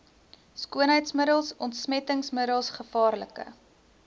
skoonheidsmiddels ontsmettingsmiddels gevaarlike